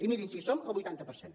i mirin sí som el vuitanta per cent